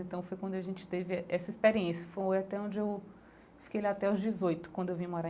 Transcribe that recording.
Então foi quando a gente teve essa experiência, foi até onde eu fiquei lá até aos dezoito, quando eu vim morar